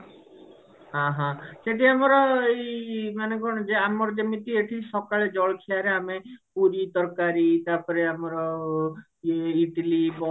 ଓହୋ କେବେ ଆମର ଏଇ ମାନେ କଣ କି ଆମର ଯେମିତି ସକାଳ ଜଳଖିଆ ରେ ଆମେ ପୁରୀ ତରକାରୀ ତାପରେ ଆମର ଇଟିଲି ବରା